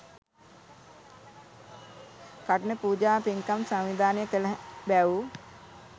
කඨින පූජා පින්කම් සංවිධානය කළ බැව්